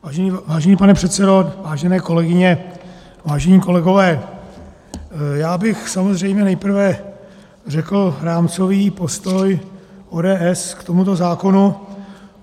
Vážený pane předsedo, vážené kolegyně, vážení kolegové, já bych samozřejmě nejprve řekl rámcový postoj ODS k tomuto zákonu.